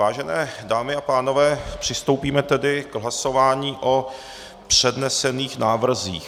Vážené dámy a pánové, přistoupíme tedy k hlasování o přednesených návrzích.